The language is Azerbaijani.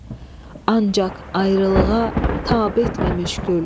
Ancaq ayrılığa tab etməmiş gül.